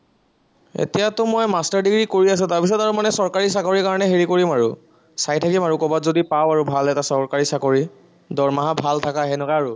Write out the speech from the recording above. এতিয়াটো মই master degree কৰি আছো, তাৰপিছত আৰু মানেচৰকাৰী চাকৰিৰ কাৰনে হেৰি কৰিম আৰু, চাই থাকিম আৰু কৰবাত যদি পাওঁ আৰু ভাল এটা চৰকাৰী চাকৰি, দৰমহা ভাল থকা সেনাকা আৰু